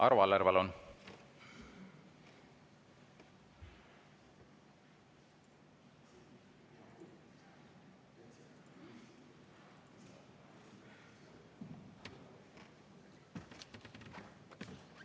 Arvo Aller, palun!